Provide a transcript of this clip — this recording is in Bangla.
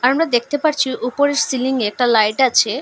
আমরা দেখতে পারছি উপরের সিলিংয়ে একটা লাইট আছে।